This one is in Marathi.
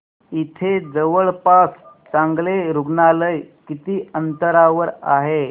इथे जवळपास चांगलं रुग्णालय किती अंतरावर आहे